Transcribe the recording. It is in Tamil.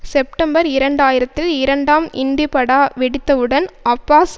செப்டம்பர் இரண்டாயிரத்தில் இரண்டாம் இன்டிபடா வெடித்தவுடன் அப்பாஸ்